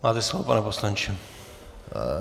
Máte slovo, pane poslanče.